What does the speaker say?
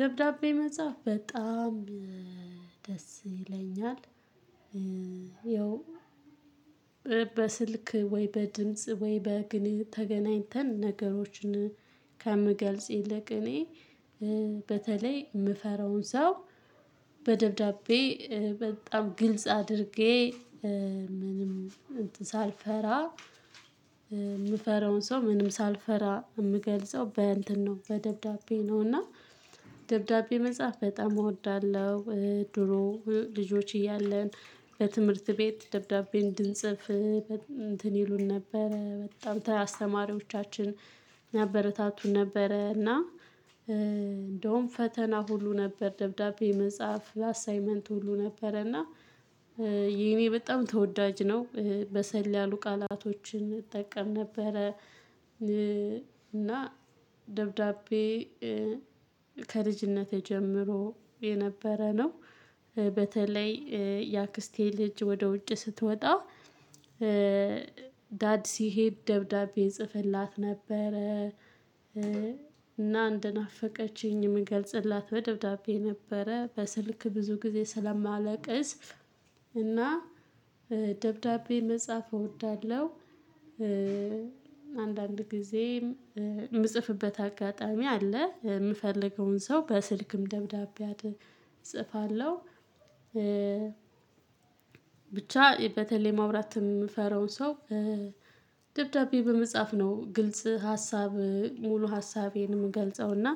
ደብዳቤ መጻፍ በጣም ደስ ይለኛል። ይኸው በስልክ ወይ በድምጽ ወይ በግን ተገናኝተን ነገሮችን ከምገልጽ ይልቅ እኔ በተለይ የምፈራውን ሰው በደብዳቤ በጣም ግልጽ አድርጌ ምንም ሳልፈራ የምፈራውን ሰው ምንም ሳልፈራ የምገልጸው በእንትን ነው። በደብዳቤ ነውና ደብዳቤ መጽሐፍ በጣም እወዳለሁ። ድሮ ልጆች እያለን በትምህርት ቤት ደብዳቤ እንድንጽፍ እንትን ይሉን ነበረ በጣም አስተማሪዎቻችን ያበረታቱን ነበረ። እና እንደውም ፈተና ሁሉ ነበር ደብዳቤ መጽሐፍ አሳይመንት ሁሉ ነበረ። እና የኔ በጣም ተወዳጅ ነው በሰል ያሉ ቃላቶችን እጠቀም ነበረ። እና ደብዳቤ ከልጅነቴ ጀምሮ የነበረ ነው። በተለይ የአክስቴ ልጅ ወደ ውጭ ስትወጣ ዳድ ሲሄድ ደብዳቤ ይጽፈላት ነበረ። እንደናፈቀችኝ የምገልጽላት በደብዳቤ ነበረ በስልክ ብዙ ጊዜ ስለማለቅስ እና ደብዳቤ መጻፍ እወዳለሁ። አንዳንድ ጊዜም የምጽፍበት አጋጣሚ አለ የምፈልገውን ሰው በስልክም ደብዳቤ አድ እጽፋለሁ። ብቻ በተለይ ማውራት የምፈራውን ሰው ደብዳቤ በመጻፍ ነው። ግልጽ ሀሳብ ሙሉ ሀሳቤን የምገልጸው እና